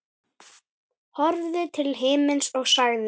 Horfði til himins og sagði